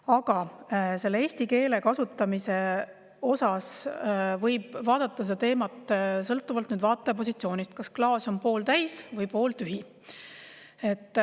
Aga eesti keele kasutamise teemat võib vaadata sõltuvalt vaataja positsioonist: kas klaas on pooltäis või pooltühi.